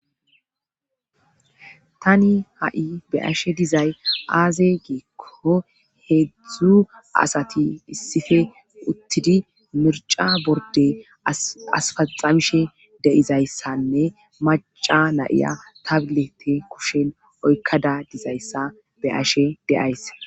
Tani ha7i be'ashe dizay aaze giikko heedzdzu asati issife uttidi mirca borde asfaxamishe deizayssanne maca nayiya tablete kushen oykkada dizayssa be ashe de'ayse.